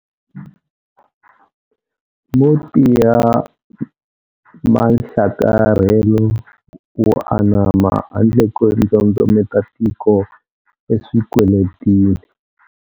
Mo tiya manhlakarhelo wo anama handle ko ndzondzometa tiko eswikweletini.